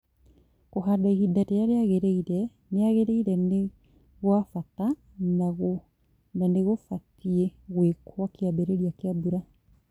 Kũhanda ihinda rĩrĩa rĩagĩrĩire nĩgwa bata na nĩgũbatie gwĩkwo kĩambĩrĩria kĩa mbura.